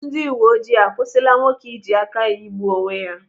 Ndị uwe ojii akwụsịla nwoke iji aka ya igbuo onwe ya.